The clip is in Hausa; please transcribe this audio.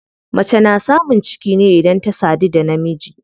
Mace na samun ciki ne idan ta sadu da namiji.